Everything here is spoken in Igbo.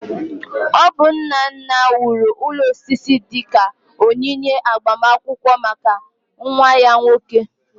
Ọ bụ nna nna wuru ụlọ osisi dị ka onyinye agbamakwụkwọ maka nwa ya nwoke